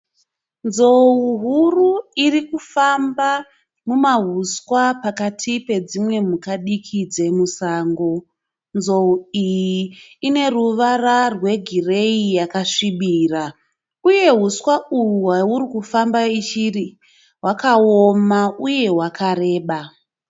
Nzou huru iri kufamba mumahuswa pakati pedzimwe mhuka diki dzemusango. Nzou iyi ine ruvara rwegireyi yakasvibira. Uye huswa hwairi kufamba iri hwakaoma uye hwakareba.